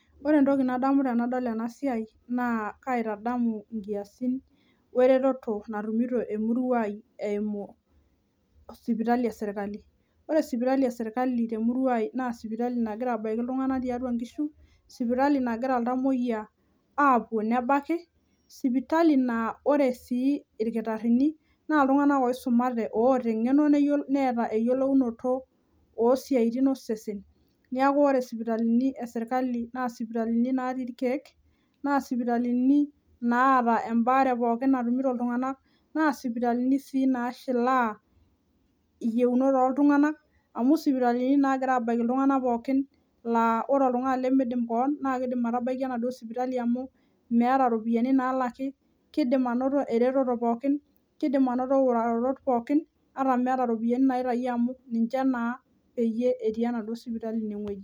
Ore entoki nadamu tenadol enasiai naa kaitadamu nkiasin wereteto natumito emurua ai eimu sipitali esirkali . Ore sipitali esirkali temurua ai na sipitali nagira abaiki iltunganak tiatua inkishu , sipitali nagira iltamoyiak apuo nebaki , sipitali naa ore sii irkitarini naa iltunganak oisumate oota engeno , neeta eyiolounoto osiatin osesen. Niaku ore sipitali esirkali , naa sipitali natii irkiek ,naa sipitali naata embaare, naa sipitalini sii nashilaa iyieunoto oltunganak amu sipitalini nagira abaiki iltunganak pokin , laa ore oltungani lemidim keweon naa kidim atabaiki enaduo sipitali amu meeta ropiyiani nalaki , kidim anoto ereto pookin ,kidim anoto utaroto pookin ata meeta naitayio amu ninche naa petii enaduo sipitali enewuei.